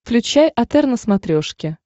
включай отр на смотрешке